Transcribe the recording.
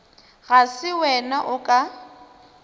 ga se wena o ka